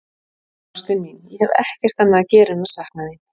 Ástin mín, ég hef ekkert annað að gera en að sakna þín.